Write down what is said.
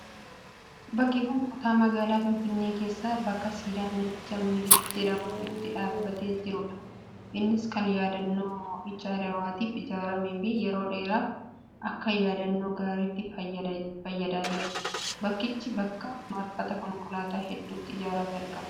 Bakki kun kutaa magaalaa Finfinnee keessaa bakka siidaan namicha Minilik jedhamuu itti dhaabbatee jirudha. Innis kan yaadannoo mo'icha Adwaatiif ijaaramee fi yeroo dheeraaf akka yaadannoo gaariitti fayyadaa jira. Bakkichi bakka marfata konkolaataa hedduutti ijaaramee argama.